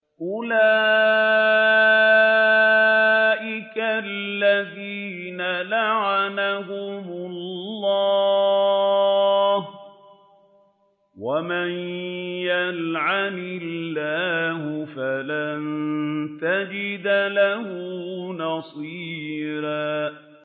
أُولَٰئِكَ الَّذِينَ لَعَنَهُمُ اللَّهُ ۖ وَمَن يَلْعَنِ اللَّهُ فَلَن تَجِدَ لَهُ نَصِيرًا